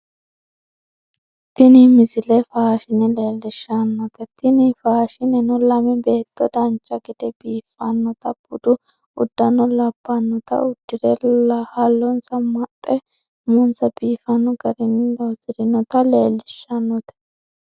tini misile faashine leelishshannote tini faashineno lame beetto dancha gede biiffannota budu uddano labbannota uddire hallonsa maxxe umonsa biifanno garinni loosirinota leellishshannote